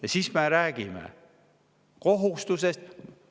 Ja siis me räägime kohustusest.